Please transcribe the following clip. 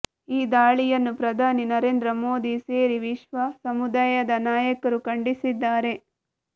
ಈ ದಾಳಿಯನ್ನು ಪ್ರಧಾನಿ ನರೇಂದ್ರ ಮೋದಿ ಸೇರಿ ವಿಶ್ವ ಸಮುದಾಯದ ನಾಯಕರು ಖಂಡಿಸಿದ್ದಾರೆ